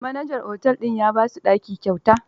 Manajan otel din ya ba su ɗaki kyauta.